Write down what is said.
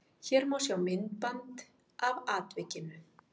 Hér má sjá myndband af atvikinu